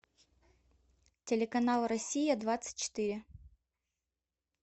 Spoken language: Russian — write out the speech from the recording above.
телеканал россия двадцать четыре